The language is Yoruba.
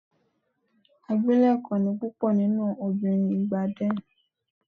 Abilékọ ni púpọ̀ nínú obìnrin ìgbà then.